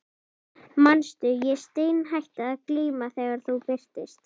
Manstu, ég steinhætti að glíma þegar þú birtist.